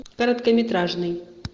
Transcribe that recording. короткометражный